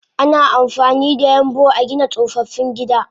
Ana amfanida yambu agina tsofaffin gida